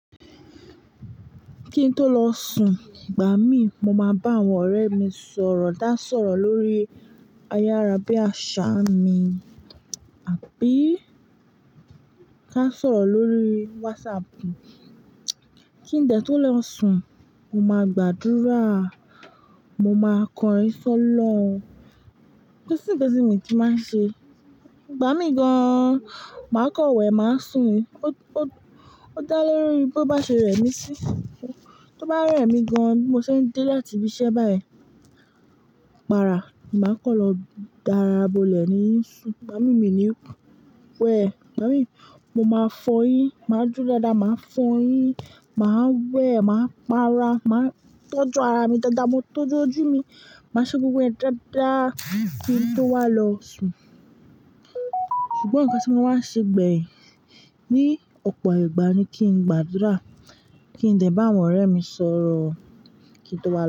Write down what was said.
Kí n tó lọ sùn, ìgbà mí mo máa bá àwọn ọ̀rẹ́ mi sọ̀rọ̀, ta sọ̀rọ̀ lórí ayárá bí àṣá mi àbí ká sọ̀rọ̀ lórí WhatsApp. Kí n dẹ̀ tó lọ sùn, mo máa gbàdúrà, mo máa kọrin sọ́lọ̀un. Kosi nkan tì mi ki nmáa ń ṣe. Ìgbà mí gan an, màá kọ̀n wé, màá sùn o-o-ó dá lelori bo bá ṣe rẹ mí sí. Tó bá rẹ̀ mí gan an bí mo ṣe ń dé láti ibi iṣẹ́ báyìí, parà, màá kọ́ lọ darabọlẹ̀ ní i ìsùn. Ìgbà mí mi ni wẹ. Ìgbà mí mo máa fọyín, màá duro dáadáa, màá fọyín, màá wẹ̀, màá para, màá tọ́jú ara mi dáadáa, mo tọ́jú ojú mi, màá ṣe gbogbo ẹ̀ dáadáa kí n tó wá lọ sùn. Ṣùgbọ́n nǹkan tí mo máa ń ṣe gbeyin ní ọ̀pọ̀ ìgbà ni kí n gbàdúrà kí n dẹ̀ bá àwọn ọ̀rẹ́ mi sọ̀rọ̀ kí n tó wá lọ sùn.